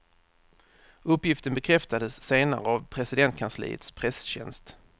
Uppgiften bekräftades senare av presidentkansliets presstjänst.